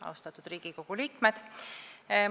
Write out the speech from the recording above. Austatud Riigikogu liikmed!